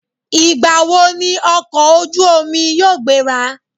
Ìgbà wo ni ọkọ̀ ojú omi yóò gbéra?